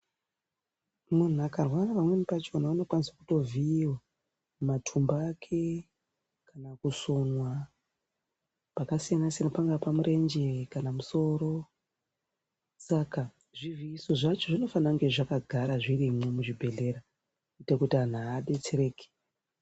Muntu akarwara pamweni pachona unokwanise kutovhiiva matumbu ake kana kusonwa pakasiyansiyana pangaa pamurenje kana pamusoro. Saka zvivhiiso zvacho zvinofana kungazvakagara zvirimwo muzvibhedhlera kuite kuti antu abetsereke.